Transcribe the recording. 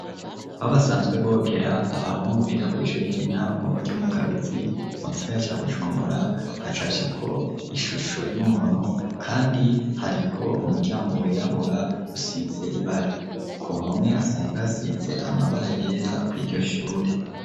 Aho basanzwe bogera, abahungu biga kw'ishuri ry'intango, ryo mu Kabezi, mu gisagara ca Bujumbura; hacafyeko ishusho y'umuntu, kandi, hariko umuryango wirabura, usize ibara; ku mpome, hasanzwe hasize, amabara yera, kw'iryo shuri.